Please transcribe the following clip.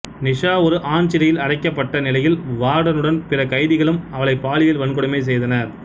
நிஷா ஒரு ஆண் சிறையில் அடைக்கப்பட்ட நிலையில் வார்டனும் பிற கைதிகளும் அவளை பாலியல் வன்கொடுமை செய்தனர்